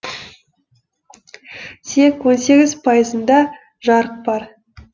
тек он сегіз пайызында жарық бар